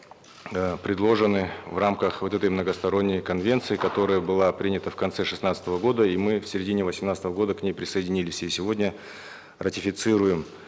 э предложены в рамках вот этой многосторонней конвенции которая была принята в конце шестнадцатого года и мы в середине восемнадцатого года к ней присоединились и сегодня ратифицируем